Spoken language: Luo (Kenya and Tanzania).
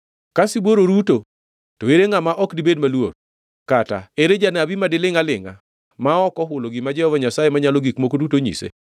Ka sibuor oruto, to ere ngʼama ok dibed maluor? Kata ere janabi madilingʼ alingʼa ma ok ohulo gima Jehova Nyasaye Manyalo Gik Moko Duto onyise?